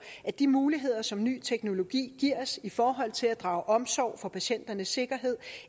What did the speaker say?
at de muligheder som ny teknologi giver os i forhold til at drage omsorg for patienternes sikkerhed